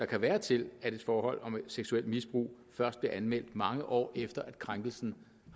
kan være til at et forhold om seksuelt misbrug først bliver anmeldt mange år efter at krænkelsen